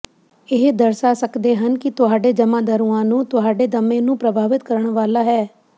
ਇਹ ਦਰਸਾ ਸਕਦੇ ਹਨ ਕਿ ਤੁਹਾਡੇ ਜਮਾਂਦਰੂਆਂ ਨੂੰ ਤੁਹਾਡੇ ਦਮੇ ਨੂੰ ਪ੍ਰਭਾਵਿਤ ਕਰਨ ਵਾਲਾ ਹੈ